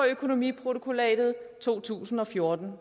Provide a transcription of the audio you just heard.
økonomiprotokollatet af to tusind og fjorten